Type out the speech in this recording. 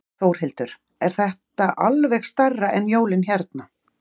Þórhildur: Er þetta alveg stærra en jólin hérna?